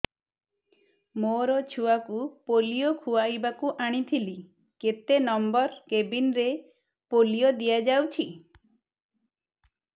ମୋର ଛୁଆକୁ ପୋଲିଓ ଖୁଆଇବାକୁ ଆଣିଥିଲି କେତେ ନମ୍ବର କେବିନ ରେ ପୋଲିଓ ଦିଆଯାଉଛି